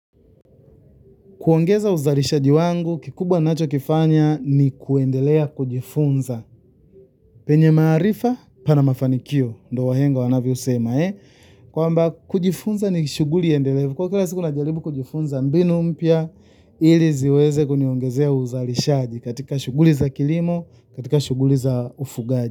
Kuongeza uzalishaji wangu, kikubwa ninacho kifanya ni kuendelea kujifunza. Penye maarifa, pana mafanikio, ndiyo wahenga wanavyosema, eh? Kwamba kujifunza ni shuguli endelevu. Kwa kila siku najaribu kujifunza mbinu mpya, ili ziweze kuniongezea uzalishaji katika shuguli za kilimo, katika shuguli za ufugaji.